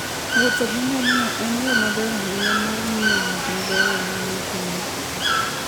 Wuotho gi ngamia en yo maber ahinya mar ng'iyo gik mabeyo manie piny.